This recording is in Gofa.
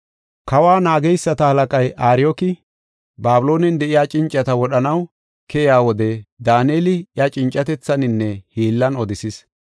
Kawa naageysata halaqay Ariyooki, Babiloonen de7iya cincata wodhanaw keyiya wode Daaneli iya cincatethaninne hiillan odisis.